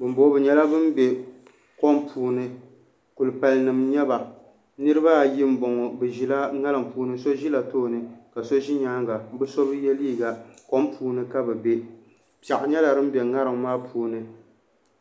Binboŋo bi nyɛla bin bɛ kom puuni kulipali nim n nyɛba niraba ayi n boŋo bi ʒila ŋarim puuni so ʒila tooni ka so ʒi nyaanga bi so bi yɛ liiga kom puuni ka bi bɛ piɛɣu nyɛla din bɛ ŋarim maa puuni